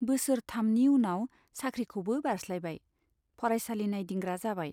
बोसोर थामनि उनाव साख्रिखौबो बारस्लायबाय , फरायसालि नाइदिंग्रा जाबाय।